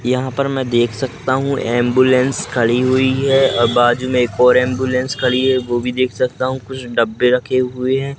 यहां पर मैं देख सकता हूं एंबुलेंस खड़ी हुई है और बाजू में एक और एंबुलेंस खड़ी हुई है वो भी देख सकता हूं कुछ डब्बे रखे हुए हैं।